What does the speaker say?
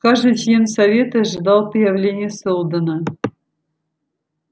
каждый член совета ожидал появления сэлдона